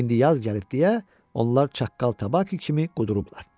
İndi yaz gəlib deyə onlar çaqqal tabaki kimi qudurublar.